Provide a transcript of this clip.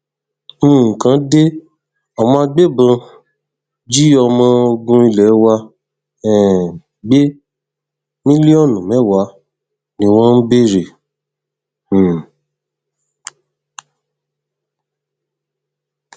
nǹkan de àwọn agbébọn jí ọmọ ogun ilé wa um gbé mílíọnù mẹwàá ni wọn ń béèrè um